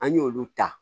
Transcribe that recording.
An y'olu ta